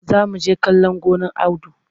Za mu je kale gonar Audu.